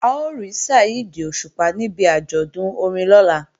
A ó rí Saheed Òṣùpá níbi àjọ̀dún orin lọ́la